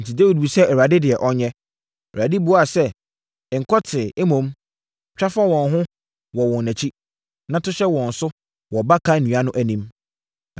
enti, Dawid bisaa Awurade deɛ ɔnyɛ. Awurade buaa sɛ, “Nkɔ tee, mmom, twa fa wɔn ho wɔ wɔn akyi, na to hyɛ wɔn so wɔ baka nnua no anim.